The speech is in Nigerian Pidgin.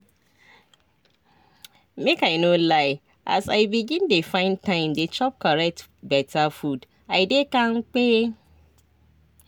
make i no lie as i begin dey find time dey chop correct beta food i dey kampe.